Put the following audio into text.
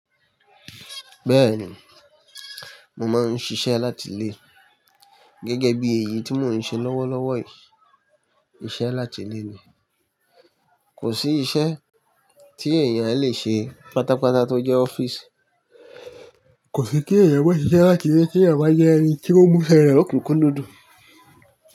Bẹ́ẹ̀ni, mo máa ń ṣiṣẹ́ láti ilé. Gẹ́gẹ́ bí èyí tí mò ń ṣe lọ́wọ́lọ́wọ́ yìí, iṣẹ́ láti ilé ni. Kò sí iṣẹ́ tí èèyàn le ṣe pátápátá tó jẹ́ ọ́fíìsì. Kò sí kí èèyàn maá ṣiṣẹ́ láti ilé kí èèyàn bá dẹ́ ẹni tí ó múṣẹ́ rẹ̀ lokúnkún núdún.